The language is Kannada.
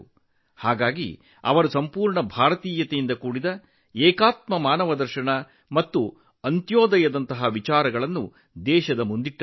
ಆದುದರಿಂದಲೇ ಅವರು ದೇಶದ ಮುಂದೆ ಸಂಪೂರ್ಣ ಭಾರತೀಯವಾಗಿದ್ದ ಏಕಾತ್ಮ ಮಾನವದರ್ಶನ ಮತ್ತು ಅಂತ್ಯೋದಯದ ಕಲ್ಪನೆಯನ್ನು ಮುಂದಿಟ್ಟರು